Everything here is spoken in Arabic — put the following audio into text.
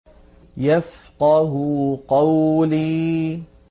يَفْقَهُوا قَوْلِي